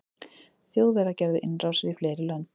þjóðverjar gerðu innrásir í fleiri lönd